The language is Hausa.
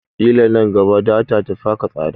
Ƙila man gaba data tafi haka tsada